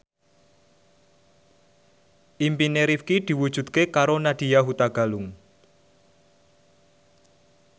impine Rifqi diwujudke karo Nadya Hutagalung